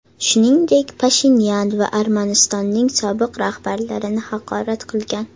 Shuningdek, Pashinyan va Armanistonning sobiq rahbarlarini haqorat qilingan.